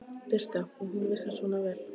Birta: Og hún virkar svona vel?